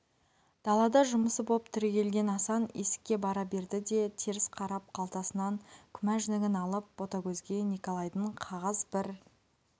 далада жұмысы боп түрегелген асан есікке бара берді де теріс қарап қалтасынан күмәжнигін алып ботагөзге николайдың қағаз бір